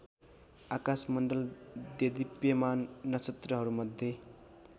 आकाशमण्डल देदीप्यमान नक्षत्रहरूमध्ये